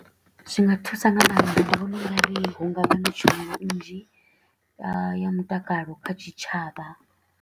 Zwi nga thusa nga maanḓa, ndi vhona u nga ri hu nga vha na tshumelo nnzhi ya mutakalo kha tshitshavha.